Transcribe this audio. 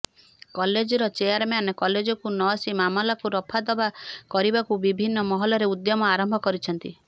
କଲେଜ୍ର ଚେୟାରମ୍ୟାନ୍ କଲେଜ୍କୁ ନଆସି ମାମଲାକୁ ରଫାଦଫା କରିବାକୁ ବିଭିନ୍ନ ମହଲରେ ଉଦ୍ୟମ ଆରମ୍ଭ କରିଛନ୍ତି